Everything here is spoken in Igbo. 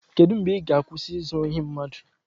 Kedu mgbe ị ga-akwụsị izu ohi mmadụ?